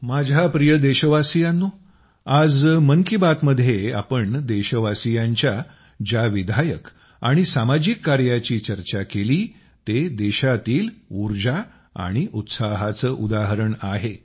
माझ्या प्रिय देशवासियांनो आज मन की बातमध्ये आम्ही देशवासियांच्या ज्या विधायक आणि सामाजिक कार्याची चर्चा केली ते देशातील उर्जा आणि उत्साहाचे उदाहरण आहे